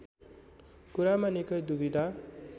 कुरामा निकै द्विविधा